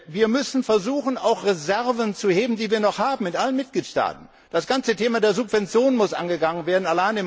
Wir müssen versuchen, auch Reserven zu heben, die wir noch in allen Mitgliedstaaten haben. Das ganze Thema der Subventionen muss angegangen werden.